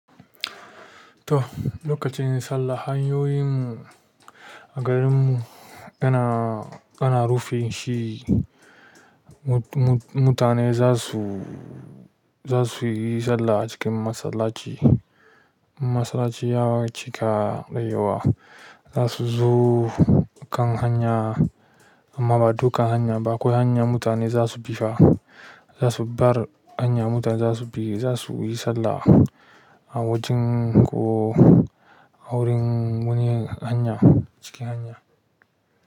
To, lokacin sallah hanyoyin a garin mu yana, ana rufin shi. Mu-mu-mutane za su, za su yi sallah a cikin masallaci. Masallaci ya cika da yawa. Za su zo kan hanya amma ba du kan hanya ba. Akwai hanya mutane za su bi fa. Za su bar hanya mutane za su bi, za su yi sallah a wajen ko a wurin wani hanya, cikin hanya.